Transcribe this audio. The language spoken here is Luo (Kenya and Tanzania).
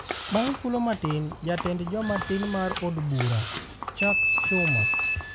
Bang’ thuolo matin, Jatend Joma Tin mar od bura, Chuck Schumer